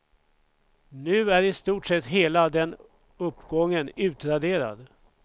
Nu är i stort sett hela den uppgången utraderad.